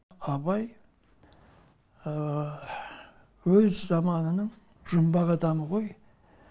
абай өз заманының жұмбақ адамы ғой